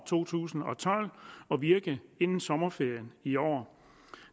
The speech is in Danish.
to tusind og tolv og virke inden sommerferien i år